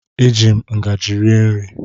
Eji m ngajị rie nri.